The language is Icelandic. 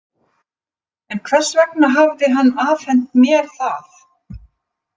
En hvers vegna hafði hann afhent mér það?